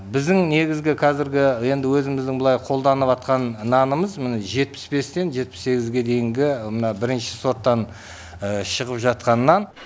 біздің негізгі қазіргі енді өзіміздің былай қолданыватқан нанымыз міне жетпіс бестен жетпіс сегізге дейінгі мына бірінші сорттан шығып жатқан нан